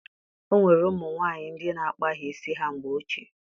O nwere ụmụ nwaanyị ndị na-akpaghị isi ha mgbe ochie